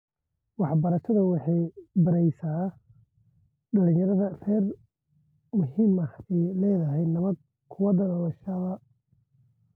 Waxbarashadu waxay baraysaa dhalinyarada rer muhiimada ay leedahay nabad ku wada noolaanshaha.